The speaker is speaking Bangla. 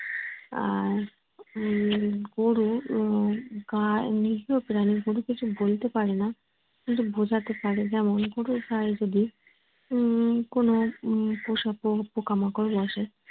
আর উম গরুর আহ গায়ে নিরীহ প্রাণী গরু কিছু বলতে পারে না। কিন্তু বোঝাতে পারে যেমন গরুর গায় যদি উম কোনো পোষা পোকা মাকড় বসে